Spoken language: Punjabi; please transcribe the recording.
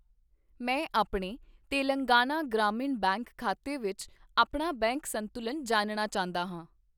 ਮੈਂ ਆਪਣੇ ਤੇਲੰਗਾਨਾ ਗ੍ਰਾਮੀਣ ਬੈਂਕ ਖਾਤੇ ਵਿੱਚ ਆਪਣਾ ਬੈਂਕ ਸੰਤੁਲਨ ਜਾਣਨਾ ਚਾਹੁੰਦਾ ਹਾਂ